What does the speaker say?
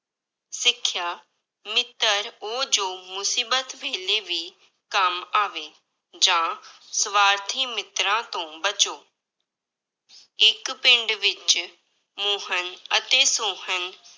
ਸਿੱਖਿਆ, ਮਿੱਤਰ ਉਹ ਜੋ ਮੁਸੀਬਤ ਵੇਲੇ ਵੀ ਕੰਮ ਆਵੇ, ਜਾਂ ਸਵਾਰਥੀ ਮਿੱਤਰਾਂ ਤੋਂ ਬਚੋ ਇੱਕ ਪਿੰਡ ਵਿੱਚ ਮੋਹਨ ਅਤੇ ਸੋਹਨ